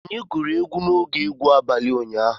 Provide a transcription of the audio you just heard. Onye gụrụ egwu n'oge egwu abalị ụnyaahụ?